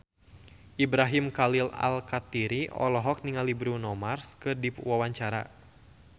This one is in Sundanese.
Ibrahim Khalil Alkatiri olohok ningali Bruno Mars keur diwawancara